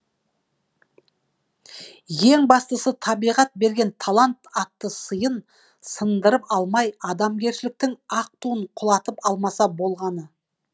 ең бастысы табиғат берген талант атты сыйын сындырып алмай адамгершіліктің ақ туын құлатып алмаса болғаны